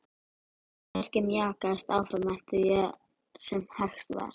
Verkið mjakaðist áfram eftir því sem hægt var.